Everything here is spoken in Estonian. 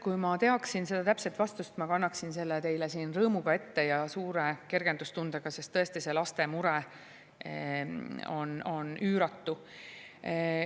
Kui ma teaksin seda täpset vastust, ma kannaksin selle teile siin ette rõõmu ja suure kergendustundega, sest tõesti see laste mure on üüratu.